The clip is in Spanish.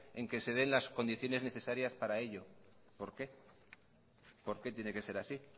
en el que se den las condiciones necesarias para ello por qué por qué tiene que ser así